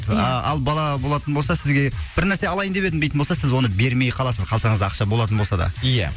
ия ал бала болатын болса сізге бір нәрсе алайын деп едім дейтін болса сіз оны бермей қаласыз қалтаңызда ақша болатын болса да ия